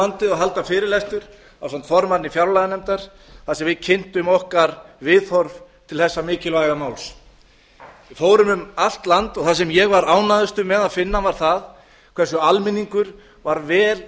landið og halda fyrirlestur ásamt formanni fjárlaganefndar þar sem við kynntum okkar viðhorf til þessa mikilvæga máls við fórum um allt land og það sem ég var ánægðastur með að finna var það hversu almenningur var vel